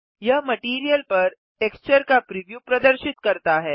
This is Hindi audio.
यह मटैरियल पर टेक्सचर का प्रिव्यू प्रदर्शित करता है